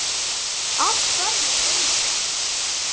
Að hverjum beinist hún?